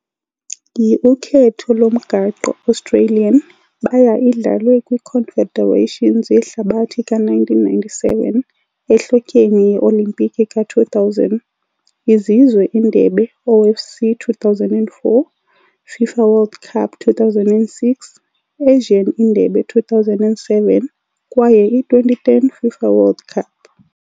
Yi - Ukhetho lomgaqo-Australian, baya idlalwe kwi - Confederations Yehlabathi ka-1997, Ehlotyeni ye-olimpiki ka-2000, Izizwe Indebe OFC 2004, FIFA World Cup 2006, Asian Indebe 2007 kwaye i - 2010 FIFA World Cup.